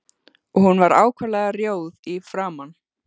Og hún var ákaflega rjóð í framan.